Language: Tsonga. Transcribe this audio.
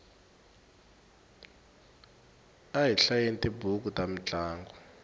a hi hlayeni tibuku ta mintlangu